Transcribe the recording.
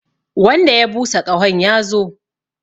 Wanda ya busa ƙahon ya zo!